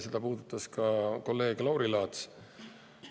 Seda puudutas ka kolleeg Lauri Laats.